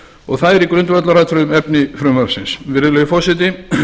og það er í grundvallaratriðum efni frumvarpsins virðulegi forseti